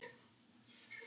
Er á vöru lækkað gjald.